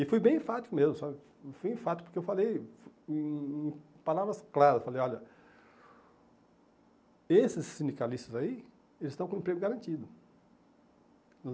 E fui bem enfático mesmo, sabe, fui enfático porque eu falei em em palavras claras, falei, olha, esses sindicalistas aí, eles estão com emprego garantido.